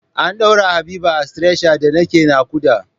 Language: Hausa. An ɗaura Habiba a stretcher da nake naƙuda.